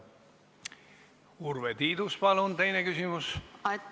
Urve Tiidus, palun teine küsimus!